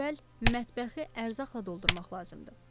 Ən əvvəl mətbəxi ərzaqla doldurmaq lazımdır.